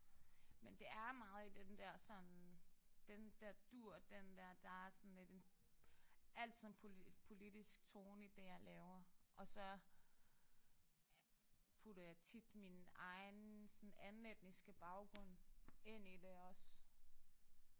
Men det er meget i den der sådan den der dur den der der er sådan lidt en altid en politisk tone i det jeg laver og så putter jeg tit min egen anden etniske baggrund ind i det også